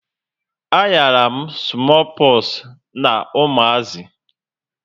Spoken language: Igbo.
A ghara m smoo poxu na umazi